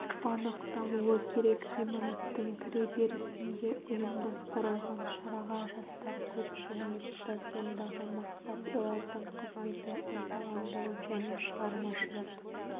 анықталуы керек ғимараттың кіреберісінде ұйымдастырылған шараға жастар көп жиналыпты сондағы мақсат олардың қызметін ынталандыру және шығармашылық